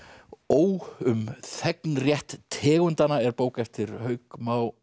ó um þegnrétt tegundanna er bók eftir Hauk Má